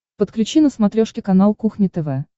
подключи на смотрешке канал кухня тв